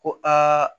Ko aa